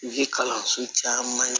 Zi kalanso caman ye